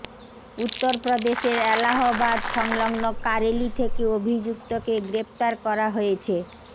উত্তরপ্রদেশের এলাহাবাদ সংলগ্ন কারেলি থেকে অভিযুক্তকে গ্রেফতার করা হয়েছে